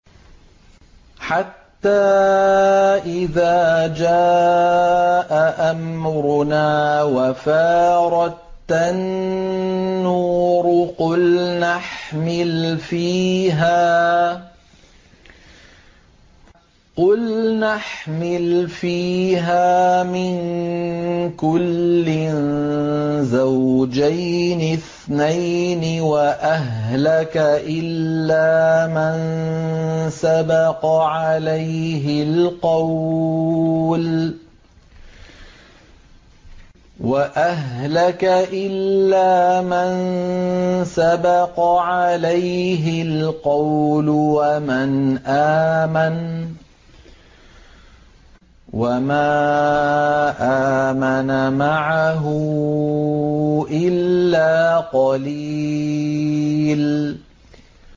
حَتَّىٰ إِذَا جَاءَ أَمْرُنَا وَفَارَ التَّنُّورُ قُلْنَا احْمِلْ فِيهَا مِن كُلٍّ زَوْجَيْنِ اثْنَيْنِ وَأَهْلَكَ إِلَّا مَن سَبَقَ عَلَيْهِ الْقَوْلُ وَمَنْ آمَنَ ۚ وَمَا آمَنَ مَعَهُ إِلَّا قَلِيلٌ